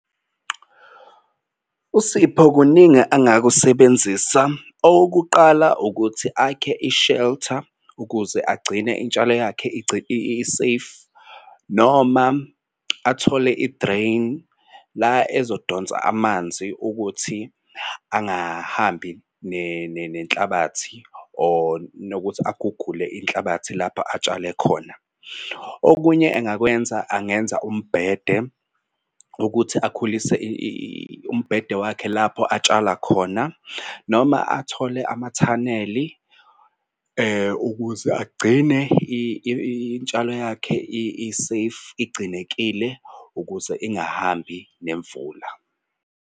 USipho kuningi angakusebenzisa okokuqala ukuthi akhe i-shelter ukuze agcine intshalo yakhe i-safe noma athole i-drain la ezodonsa amanzi ukuthi angahambi nenhlabathi or nokuthi agugule inhlabathi lapho atshale khona. Okunye engakwenza angenza umbhede ukuthi akhulise umbhede wakhe lapho atshala khona. Noma athole amathaneli ukuze agcine intshalo yakhe i-safe igcinekile ukuze ingahambi nemvula.